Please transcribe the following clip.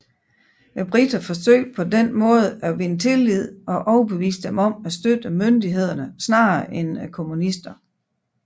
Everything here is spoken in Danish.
Briterne forsøgte på denne måde at vinde tillid og overbevise dem om at støtte myndighederne snarere end kommunisterne